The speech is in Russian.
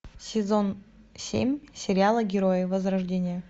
сезон семь сериала герои возрождение